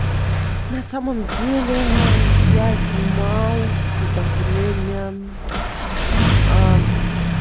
на самом деле я снимал всё это время